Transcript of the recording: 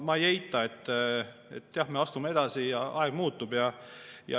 Ma ei eita, et jah, me astume edasi ja aeg muutub.